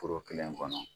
Foro kelen kɔnɔ